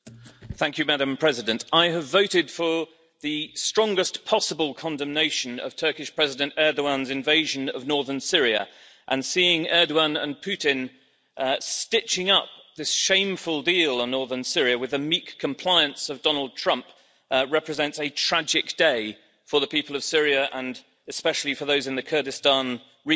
Madam President, I have voted for the strongest possible condemnation of Turkish President Erdoğan's invasion of Northern Syria, and seeing Erdoğan and Putin stitching up this shameful deal on Northern Syria with the meek compliance of Donald Trump represents a tragic day for the people of Syria and especially for those in the Kurdistan region.